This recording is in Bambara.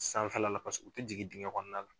Sanfɛla la paseke u tɛ jigin dingɛ kɔnɔna la.